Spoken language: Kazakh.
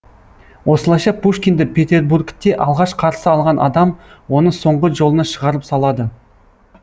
осылайша пушкинді петербургте алғаш қарсы алған адам оны соңғы жолына шығарып салады